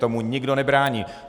Tomu nikdo nebrání.